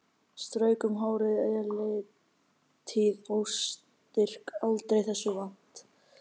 Strauk um hárið, eilítið óstyrk aldrei þessu vant.